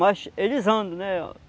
Mas eles andam, né?